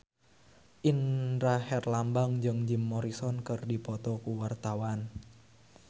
Indra Herlambang jeung Jim Morrison keur dipoto ku wartawan